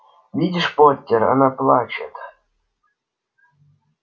видишь поттер она плачет